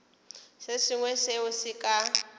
se sengwe seo se ka